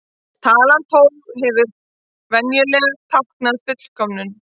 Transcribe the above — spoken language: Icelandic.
Talan tólf hefur venjulega táknað fullkomnum.